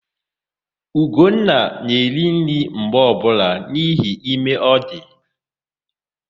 Ugonna na-eri nri mgbe ọbụla n'ihi ime ọ dị.